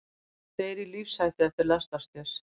Tveir í lífshættu eftir lestarslys